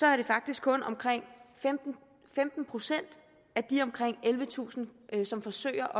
er det faktisk kun omkring femten procent af de omkring ellevetusind som forsøger